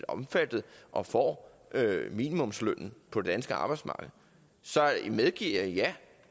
omfattet og får minimumslønnen på det danske arbejdsmarked så medgiver jeg ja at